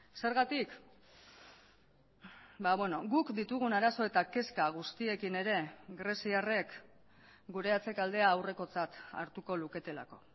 zergatik guk ditugun arazo eta kezka guztiekin ere greziarrek gure atzekaldea aurrekotzat hartuko luketelako